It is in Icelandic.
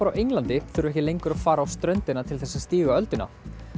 á Englandi þurfa ekki lengur að fara á ströndina til þess að stíga ölduna